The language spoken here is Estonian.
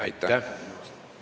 Aitäh!